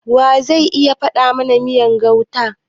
Wa ze iya dafa mana miyar gauta?